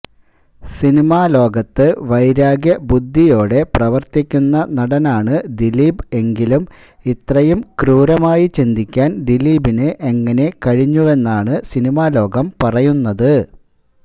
സിനിമാലോകത്ത് വൈരാഗ്യ ബുദ്ധിയോടെ പ്രവര്ത്തിക്കുന്ന നടനാണ് ദിലീപ് എങ്കിലും ഇത്രയും ക്രൂരമായി ചിന്തിക്കാന് ദിലീപിന് എങ്ങനെ കഴിഞ്ഞുവെന്നാണ് സിനിമാലോകം പറയുന്നത്